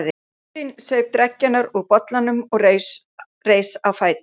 urinn, saup dreggjarnar úr bollanum og reis á fætur.